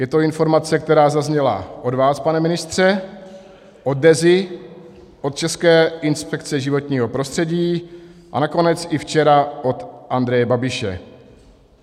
Je to informace, která zazněla od vás, pane ministře, od Deza, od České inspekce životního prostředí a nakonec i včera od Andreje Babiše.